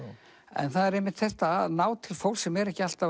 en það er einmitt þetta að ná til fólks sem er ekki alltaf